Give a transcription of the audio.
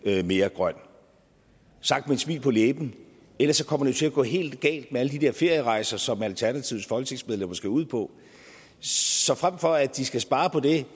mere grøn sagt med et smil på læben ellers kommer det jo til at gå helt galt med alle de der ferierejser som alternativets folketingsmedlemmer skal ud på så frem for at de skal spare på det